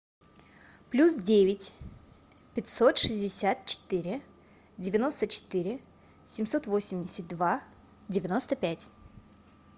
плюс девять пятьсот шестьдесят четыре девяносто четыре семьсот восемьдесят два девяносто пять